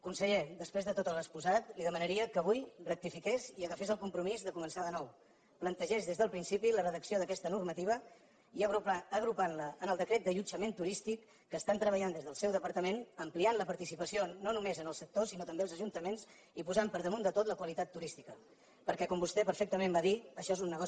conseller després de tot l’exposat li demanaria que avui rectifiqués i agafés el compromís de començar de nou plantegés des del principi la redacció d’aquesta normativa i agrupant la en el decret d’allotjament turístic que estan treballant des del seu departament ampliant la participació no només al sector sinó també als ajuntaments i posant per damunt de tot la qualitat turística perquè com vostè perfectament va dir això és un negoci turístic